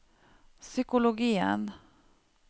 psykologien